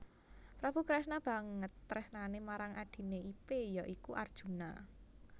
Prabu Kresna banget tresnane marang adhine ipe ya iku Arjuna